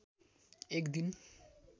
एक दिन